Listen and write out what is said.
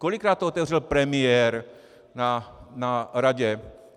Kolikrát to otevřel premiér na Radě?